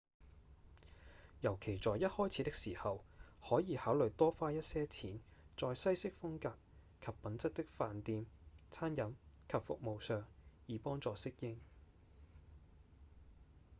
尤其在一開始的時候可以考慮多花一些錢在西式風格及品質的飯店、餐飲及服務上以幫助適應